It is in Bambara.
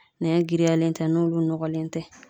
Nɛn girinyalen tɛ, n'olu nɔgɔlen tɛ